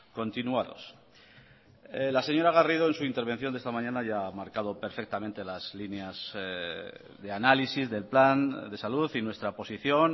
continuados la señora garrido en su intervención de esta mañana ya ha marcado perfectamente las líneas de análisis del plan de salud y nuestra posición